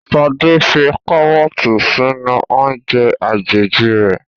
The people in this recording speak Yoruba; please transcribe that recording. Sade fí karọọti sínú oúnje àjèjì rẹ